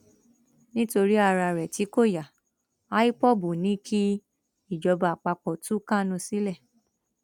nítorí ara rẹ tí kò ya idol ni kí ìjọba àpapọ tú kánú sílẹ